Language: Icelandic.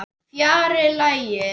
Fjarri lagi.